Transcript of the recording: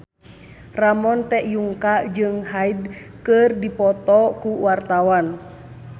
Ramon T. Yungka jeung Hyde keur dipoto ku wartawan